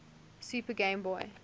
super game boy